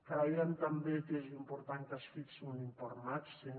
creiem també que és important que es fixi un import màxim